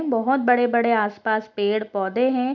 बहुत बड़े बड़े आस पास पेड़ पोधे हैं |